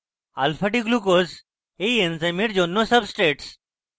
alphadglucose এই এনজাইমের জন্য সাব্সট্রেটস